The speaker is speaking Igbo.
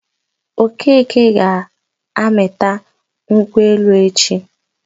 Okeke ga-aga mịta nkwụ elu echi.